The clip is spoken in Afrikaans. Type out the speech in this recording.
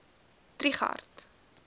trigardt